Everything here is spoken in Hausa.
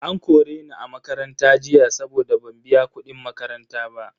An kore ni a makaranta jiya saboda ban biya kudin makaranta ba.